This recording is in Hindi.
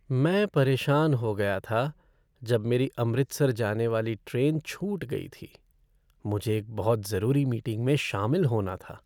मैं परेशान हो गया था जब मेरी अमृतसर जाने वाली ट्रेन छूट गई थी, मुझे एक बहुत ज़रूरी मीटिंग में शामिल होना था।